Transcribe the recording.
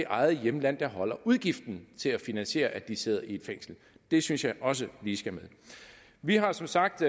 eget hjemland der afholder udgiften til at finansiere at de sidder i et fængsel det synes jeg også lige skal med vi har som sagt